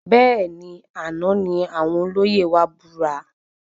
Bẹẹni, àna ní àwọn olóyè wa búra